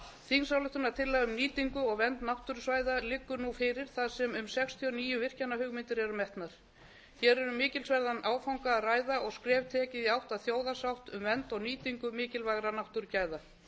þingsályktunartillaga um nýtingu og vernd náttúrusvæða liggur nú fyrir þar sem um sextíu og níu virkjanahugmyndir eru metnar hér er um mikilsverðan áfanga að ræða og skref tekið í átt að þjóðarsátt um vernd og nýtingu mikilvægra náttúrugæða